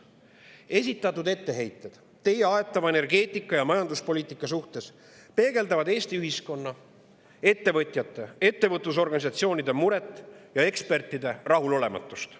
Esitatud etteheited teie aetava energeetika‑ ja majanduspoliitika kohta peegeldavad Eesti ühiskonna, ettevõtjate ja ettevõtlusorganisatsioonide muret ning ekspertide rahulolematust.